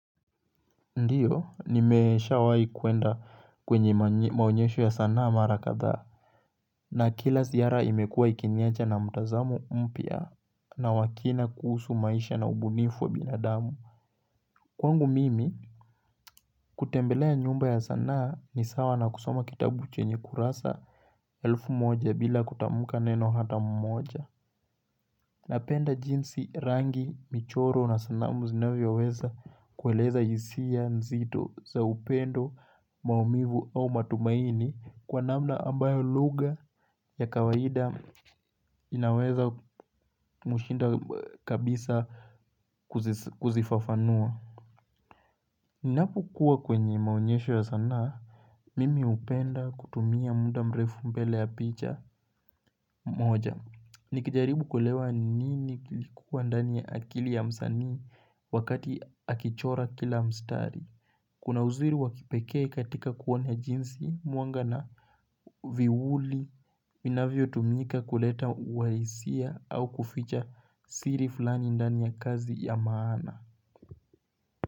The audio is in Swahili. Ndiyo nimeshawahi kuenda kwenye maonyesho ya sanaa mara kadhaa na kila ziara imekua ikiniacha na mtazamo mpya na wa kina kuhusu maisha na ubunifu wa binadamu kwangu mimi kutembelea nyumba ya sanaa ni sawa na kusoma kitabu chenye kurasa elfu moja bila kutamka neno hata mmoja Napenda jinsi rangi, michoro na sanamu zinavyoweza kueleza hisia nzito za upendo, maumivu au matumaini kwa namna ambayo lugha ya kawaida inaweza mshinda kabisa kuzifafanua. Ninapokuwa kwenye maonyesho ya sana, mimi hupenda kutumia muda mrefu mbele ya picha moja. Nikijaribu kuelewa nini kilikuwa ndani ya akili ya msanii wakati akichora kila mstari. Kuna uzuri wa kipekee katika kuona jinsi, mwanga na viuli, vinavyotumika kuleta uwahisia au kuficha siri fulani ndani ya kazi ya maana.